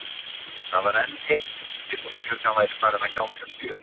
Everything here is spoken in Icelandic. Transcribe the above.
Það var enn heitt úti þótt klukkan væri farin að ganga sjö.